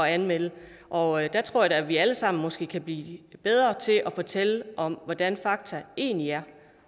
anmelde det og der tror jeg da at vi alle sammen måske kan blive bedre til at fortælle om hvordan fakta egentlig er